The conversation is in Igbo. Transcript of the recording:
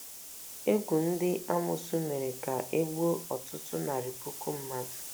Égwù ndị amoosu mere ka e gbuo ọtụtụ narị puku mmadụ.